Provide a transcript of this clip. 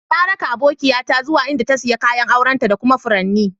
Na ra'ka abokiya ta zuwa inda ta siya kayan auren ta da kuma faranin.